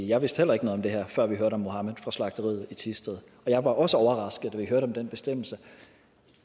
jeg vidste heller ikke noget om det her før vi hørte om mohamed fra slagteriet i thisted og jeg var også overrasket da vi hørte om den bestemmelse